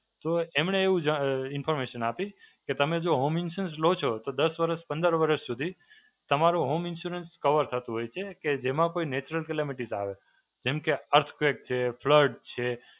તો એમણે એવું જ અ information આપી કે તમે જો Home Insurance લો છો તો દસ વર્ષ, પંદર વર્ષ સુધી તમારો Home Insurance cover થતું હોય છે. કે જેમાં કોઈ Natural calamities આવે. જેમ કે earthquake છે, ફ્લડ છે.